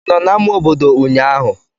Ị nọ na ama obodo ụnyahụ?